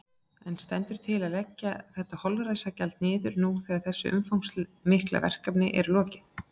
En stendur til að leggja þetta holræsagjald niður nú þegar þessu umfangsmikla verkefni er lokið?